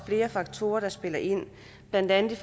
flere faktorer der spiller ind blandt andet